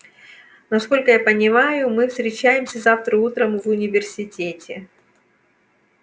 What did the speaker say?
насколько я понимаю мы встречаемся завтра утром в университете